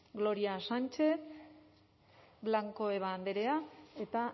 gloria sánchez blanco eba andrea eta